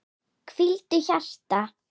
Hvíldu hjarta.